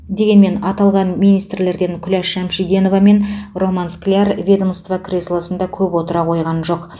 дегенмен аталған министрлерден күләш шамшиндинова мен роман скляр ведомство креслосында көп отыра қойған жоқ